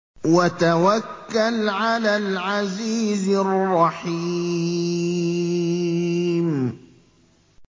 وَتَوَكَّلْ عَلَى الْعَزِيزِ الرَّحِيمِ